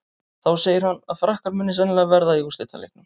Þá segir hann að Frakkar muni sennilega verða í úrslitaleiknum.